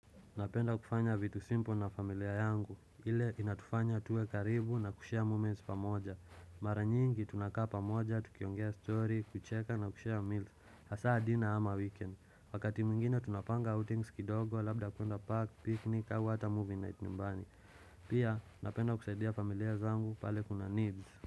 Napenda kufanya vitu simpo na familia yangu. Ile inatufanya tuwe karibu na kushia moments pamoja. Mara nyingi tunakaa pamoja, tukiongea story, kucheka na kushare meals. Hasaa diner ama weekend. Wakati mwingine tunapanga outings kidogo, labda kuenda park, picnic, awa hata movie night nyumbani. Pia napenda kusaidia familia zangu pale kuna needs.